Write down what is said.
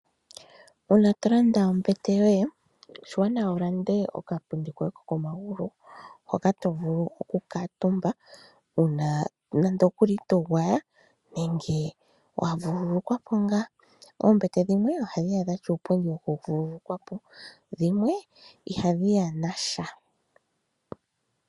Uuna to landa ombete yoye oshiwanawa wu lande okapundi kokomagulu, hoka to vulu oku kuutumba uuna nande okuli to gwaya nenge wa vululukwa po ngaa. Oombete dhimwe ohadhi ya dha tya uupundi wokuvululukwa po, dhimwe ihadhi ya nasha.